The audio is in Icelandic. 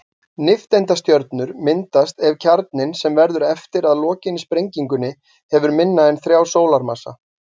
Nifteindastjörnur myndast ef kjarninn, sem verður eftir að lokinni sprengingunni, hefur minna en þrjá sólarmassa.